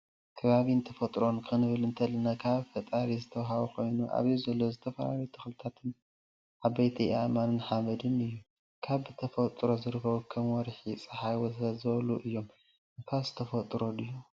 ከባቢን ተፎጥሮን ክንብል እንተላና ካብ ፈጣረ ዝተወሃቡ ኮይኖም ኣብዚ ዘሎ ዝተፈላለዩ ተክልታትን፣ ዓበይቲ ኣእማን ሓመድን እዩ። ካብ ብተፈጥሮ ዝርከቡ ካም ወርሒ ፣ፀሓይ ወዘተ.... ዝበሉ እዮም። ንፋስ ተፈጥሮ ድዩ?